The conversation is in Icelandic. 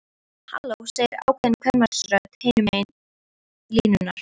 Halló, segir ákveðin kvenmannsrödd hinum megin línunnar.